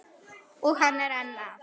Og hann er enn að.